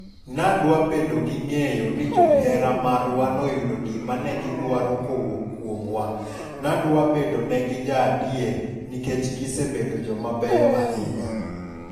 Nadwa bedo gi ng'eyo ni johera marwa noyudo gima negi dwaro kowuok kuomwa. Nadwa bedo negi jaadier nikech gisebedo jomabeyo ahinya.